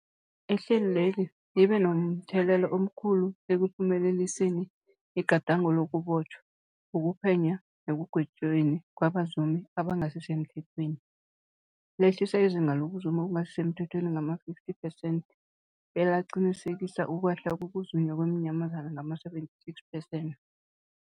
Ihlelweli libe momthelela omkhulu ekuphumeleliseni igadango lokubotjhwa, ukuphenywa nekugwetjweni kwabazumi abangasisemthethweni, lehlisa izinga lokuzuma okungasi semthethweni ngama-50 percent, belaqinisekisa ukwehla kokuzunywa kweenyamazana ngama-76 percent.